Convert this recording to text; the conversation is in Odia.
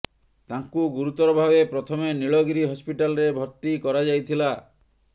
ତାଙ୍କୁ ଗୁରୁତର ଭାବେ ପ୍ରଥମେ ନୀଳଗିରି ହସ୍ପିଟାଲରେ ଭର୍ତ୍ତି କରାଯାଇଥିଲା